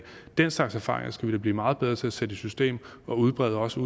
den slags erfaringer skal vi da blive meget bedre til at sætte i system og udbrede også